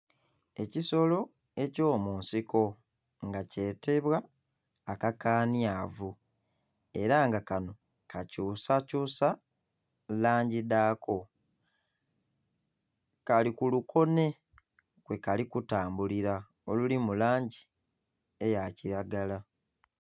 Ekisolo eky'omunsiko nga kyetebwa akakanhyavu era nga kanho kakyusakyusa langi dhaako, kali ku lukonhe kwe kali kutambulira oluli mu langi eya kiragala.